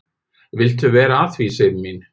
"""Viltu vera að því, Sif mín?"""